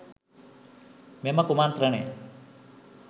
මෙම කුමන්ත්‍රණය